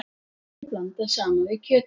Sósunni blandað saman við kjötið.